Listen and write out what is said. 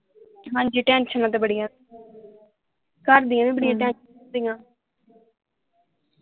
ਹਾਂਜੀ ਟੈਂਸ਼ਨਾਂ ਤੇ ਬੜੀਆਂ ਘਰਦੀਆਂ ਵੀ ਬੜੀਆਂ ਟੈਂਸ਼ਨਾਂ ਹੁੰਦੀਆਂ